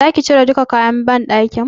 Zaki cire duka kayan banɗakin?